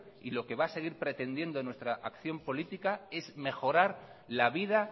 y lo que va a seguir pretendiendo nuestra acción política es mejorar la vida